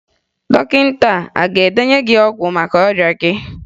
Dọkịta a ga-edenye gị ọgwụ maka ọrịa gị?